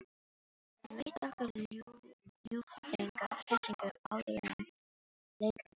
Hann veitti okkur ljúffenga hressingu áðuren lengra var haldið.